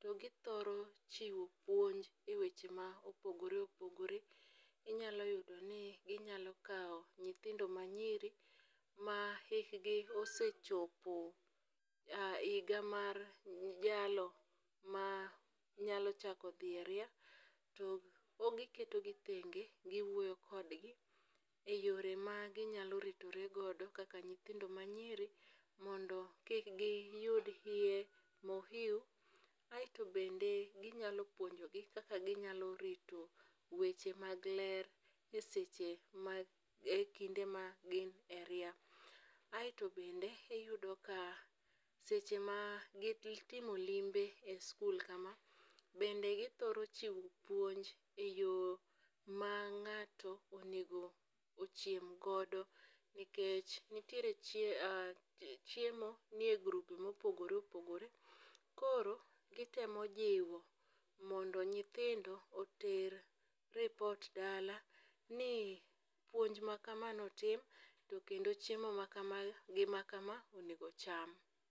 to githoro chiwo puonj e weche ma opogore opogore. Inyalo yudo ni ginyalo kawo nyithindo manyiri, ma hikgi osechopo higa mar jalno ma nyalo chako dhi e ria, to giketo gi tenge, guwuoyo kodgi, e yore ma kaka ginyalo ritore godo kaka nyithindo manyiri. Mondo kik giyud iye mohiu. Aeto bende ginyalo puonjo gi kaka ginyalo rito weche mag ler e seche mag, e kinde ma gin e ria. Aeto bende iyudo ka seche ma gitimo limbe e skul kama, bende githoro chiwo puonj e yo ma ng'ato onego ochiem godo. Nikech nitiere chiemo nie groupe mopogore opogore. Koro gitemo jiwo mondo nyithindo oter report dala ni puonj ma kama notim, kendo chiemo ma ka, gi ma kama, onego ocham.